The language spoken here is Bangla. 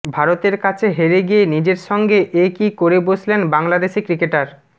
ভারতের কাছে হেরে গিয়ে নিজের সঙ্গে এ কী করে বসলেন বাংলাদেশি ক্রিকেটার